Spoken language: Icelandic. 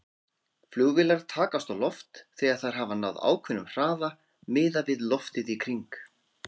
Flugvélar takast á loft þegar þær hafa náð ákveðnum hraða miðað við loftið í kring.